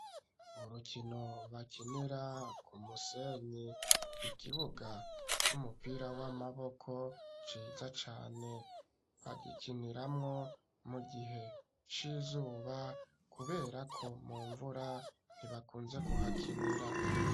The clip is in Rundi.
Urukino bakinira ku musenyi ikibuga c'umupira w'amaboko ciza cane bagikiniramo mu gihe c'izuba kubera ko mu mvura ntibakunze kuhakinira.